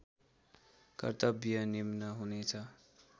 कर्तव्य निम्न हुनेछ